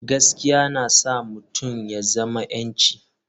Gaskiya yana sa mutum ya zama 'yanci.